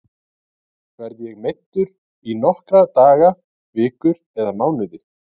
Verð ég meiddur í nokkra daga, vikur eða mánuði?